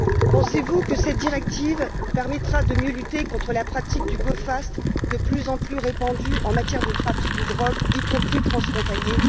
Pensez vous que cette directive permettra de mieux lutter contre la pratique du go fast, de plus en plus répandue en matière de trafic de drogues, y compris transfrontalier